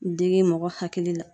Digi mɔgɔ hakili la